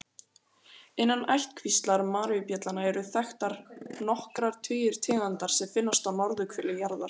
Innan ættkvíslar maríubjallna eru þekktar nokkrir tugir tegunda sem finnast á norðurhveli jarðar.